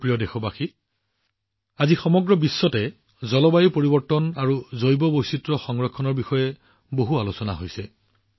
মোৰ মৰমৰ দেশবাসীসকল আজি সমগ্ৰ বিশ্বতে জলবায়ু পৰিৱৰ্তন আৰু জৈৱ বৈচিত্ৰ্য সংৰক্ষণৰ বিষয়ে যথেষ্ট আলোচনা হৈছে